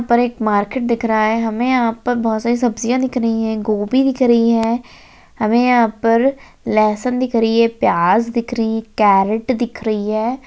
ऊपर एक मार्केट दिख रहा है हमें यहां पर बहुत सारी सब्जियां दिख रही हैं गोभी दिख रही है हमें यहां पर लहसन दिख रही है प्याज दिख री कैरेट दिख रही है।